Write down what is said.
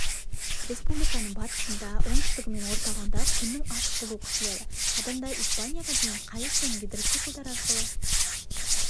республиканың батысында оңтүстігі мен орталығында күннің ашық болуы күтіледі адамдар испанияға дейін қайық пен гидроциклдар арқылы